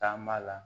Taama la